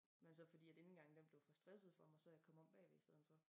Men så frodi indgangen den blev for stresset for mig så jeg kommet om bagved i stedet for